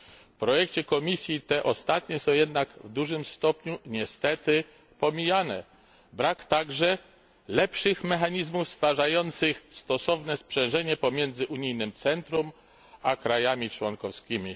W projekcie komisji te ostatnie są jednak w dużym stopniu niestety pomijane, brak także lepszych mechanizmów stwarzających stosowne sprzężenie pomiędzy unijnym centrum, a krajami członkowskimi.